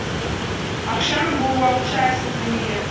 ақшаның буы уақытша әлсіз дүние